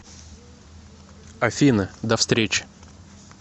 афина до встречи